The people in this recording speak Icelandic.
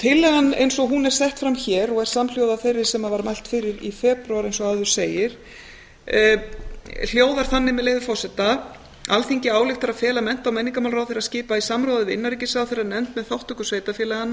tillagan eins og hún er sett fram hér og er samhljóða þeirri sem var mælt fyrir í febrúar eins og áður segir hljóðar þannig með leyfi forseta alþingi ályktar að fela mennta og menningarmálaráðherra að skipa í samráði við innanríkisráðherra nefnd með þátttöku sveitarfélaganna